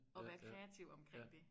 Og være kreativ omkring det